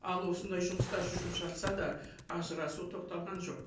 ал осындай жұмыстар жүріп жатса да ажырасу тоқталған жоқ